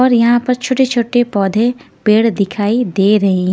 और यहाँ पर छोटे छोटे पौधे पेड़ दिखाई दे रहे हैं।